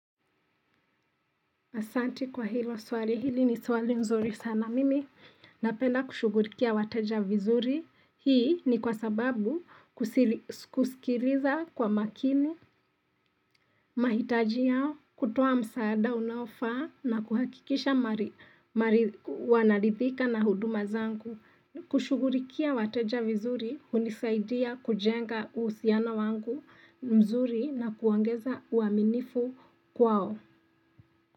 Asanti kwa hilo swali, hili ni swali nzuri sana mimi. Napenda kushughulikia wateja vizuri. Hii ni kwa sababu kusikiliza kwa makini, mahitaji yao, kutoa msaada unaofaa na kuhakikisha wanarithika na huduma zangu. Kushughulikia wateja vizuri, hunisaidia kujenga uhusiano wangu mzuri na kuongeza uaminifu kwao.